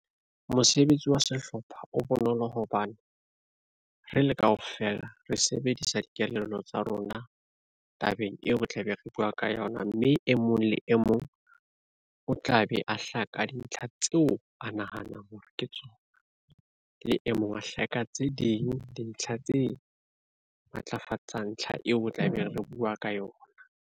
Mosebetsi wa sehlopha o bonolo hobane re le kaofela re sebedisa dikelello tsa rona tabeng eo re tlabe re bua ka yona mme e mong le e mong o tla be a hlaka dintlha tseo a nahanang hore ke tsona le e mong a hlahe ka tse ding dintlha tse matlafatsang ntlha eo tla be re bua ka yona.